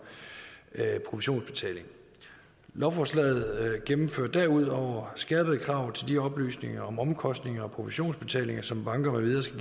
provisionsbetaling lovforslaget gennemfører derudover skærpede krav til de oplysninger om omkostninger og provisionsbetalinger som banker med videre skal